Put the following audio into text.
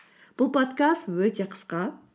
бұл подкаст өте қысқа